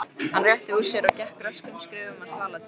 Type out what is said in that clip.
Hann rétti úr sér og gekk röskum skrefum að svaladyrunum.